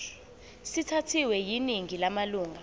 sithathwe yiningi lamalunga